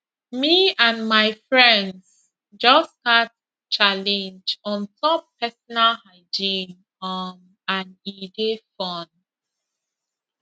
me and my friends just start challenge on top personal hygiene um and e dey fun